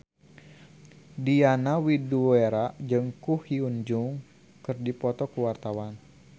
Diana Widoera jeung Ko Hyun Jung keur dipoto ku wartawan